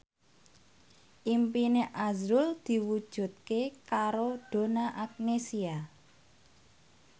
impine azrul diwujudke karo Donna Agnesia